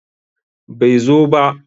Bai zo ba.